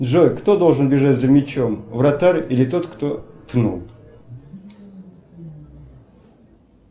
джой кто должен бежать за мячом вратарь или тот кто пнул